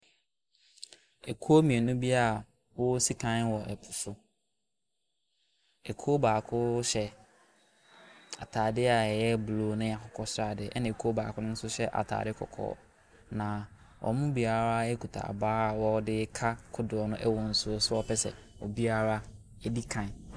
Akuo mmienu bi wɔresi kan wɔ po so, kuo baako hyɛ ataadeɛ a ɛyɛ blue ne akokɔsradeɛ na kuo baako nso hyɛ ataadeɛ kɔkɔɔ. Na wɔn mu biara kita abaa a wɔde ɛreka kodoɔ no wɔ nsuo soɔ pɛ sɛ obiara di kan.